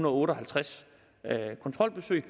og otte og halvtreds kontrolbesøg